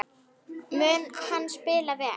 Mun hann spila vel?